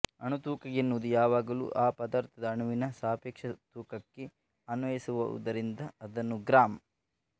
ಅಣುತೂಕ ಎನ್ನುವುದು ಯಾವಾಗಲೂ ಆ ಪದಾರ್ಥದ ಅಣುವಿನ ಸಾಪೇಕ್ಷ ತೂಕಕ್ಕೆ ಅನ್ವಯಿಸುವುದಾದ್ದರಿಂದ ಅದನ್ನು ಗ್ರಾಂ